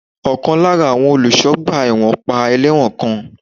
Ọ̀kan lára àwọn olùṣọ́ ọgbà ẹ̀wọ̀n pa ẹlẹ́wọ̀n kan.